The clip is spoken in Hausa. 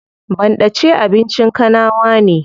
Banɗace abincin kanawa ne.